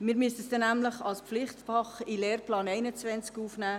Wir müssten diese nämlich als Pflichtfach in den Lehrplan 21 aufnehmen.